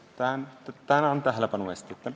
Tänan tähelepanu eest!